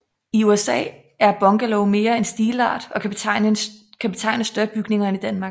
I USA er bungalow mere en stilart og kan betegne større bygninger end i Danmark